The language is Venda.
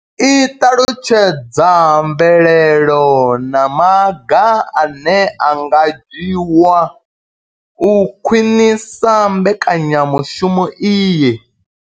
I ṱalutshedza mvelelo na maga ane a nga dzhiwa u khwinisa mbekanyamushumo iyi.